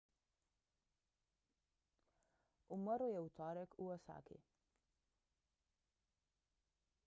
umrl je v torek v osaki